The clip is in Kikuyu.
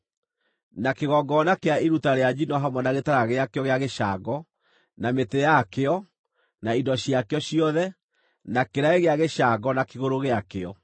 na kĩgongona kĩa iruta rĩa njino hamwe na gĩtara gĩakĩo gĩa gĩcango, na mĩtĩ yakĩo, na indo ciakĩo ciothe; na kĩraĩ gĩa gĩcango na kĩgũrũ gĩakĩo;